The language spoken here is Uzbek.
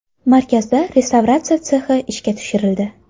Markazda restavratsiya sexi ishga tushirildi.